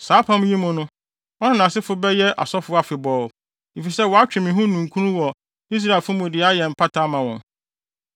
Saa apam yi mu, ɔno ne nʼasefo bɛyɛ asɔfo afebɔɔ, efisɛ watwe me ho ninkunu wɔ Israelfo mu de ayɛ mpata ama wɔn.”